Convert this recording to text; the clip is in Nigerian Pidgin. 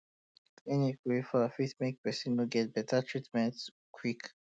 clinic wey far fit make um person no get um better treatment quick